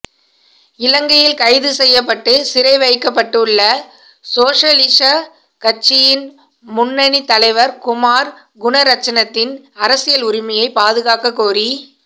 இலங்கையில் கைது செய்யப்பட்டு சிறைவைக்கப்பட்டுள்ள சோசலிஷ கட்சியின் முன்னணி தலைவர் குமார் குணரட்னத்தின் அரசியல் உரிமையை பாதுகாக்கக்கோரி